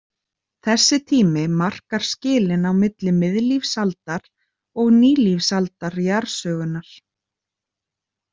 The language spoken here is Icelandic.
Þessi tími markar skilin á milli miðlífsaldar og nýlífsaldar jarðsögunnar.